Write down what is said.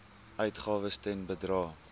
uitgawes ten bedrae